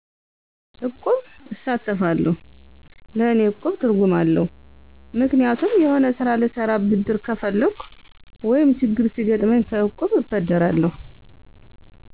እቁብ እሳተፋለሁ ለእኔ እቁብ ትርጉም አለዉ ምክንያቱም የሆነ ስራ ልሰራ ብድር ከፈለኩ ወይም ችግር ሲገጥመኝ ከእቁብ እበደራለሁ